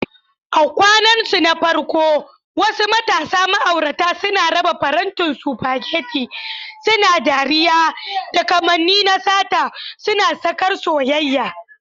A kwanansu na farko, wasu matasa ma'aurata suna raba farantin spaghetti, suna dariya, da kamanni na sata, suna sakar soyayya.